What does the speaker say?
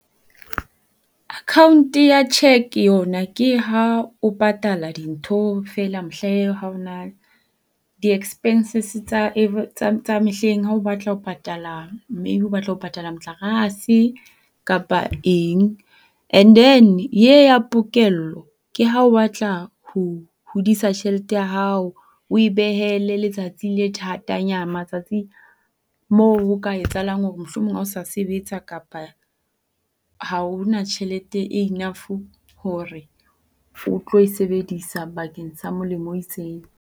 Account ya check yona ke ha o patala dintho feela mehla ee ha o na di-expenses tsa tsa mehleng ha o batla ho patala maybe o batla ho patala motlakase kapa eng. And then ye ya pokello ke ha o batla ho hodisa tjhelete ya hao o e behele letsatsi le matsatsi mo ho ka etsahalang hore mohlomong ha o sa sebetsa kapa ha o na tjhelete e enough hore o tlo e sebedisa bakeng sa molemo o itseng.